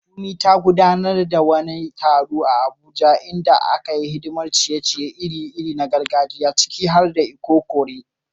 Funmi ta gudanar da wani taro a Abuja inda ta yi hidimar ciye-ciye iri-iri na gargajiya, ciki har da ikokore.